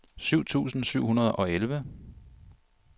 syv tusind syv hundrede og elleve